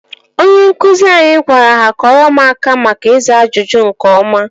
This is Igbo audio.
Onye nkụzi anyị gwara ha kụọrọ m aka maka ịza ajụjụ nke ọma